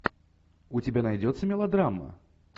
у тебя найдется мелодрама